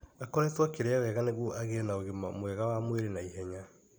Akoretwo akĩrĩa wega nĩguo agĩe na ũgima mwega wa mwĩrĩ na ihenya.